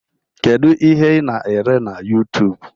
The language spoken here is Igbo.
Kedu ihe I na-ele na Yutub?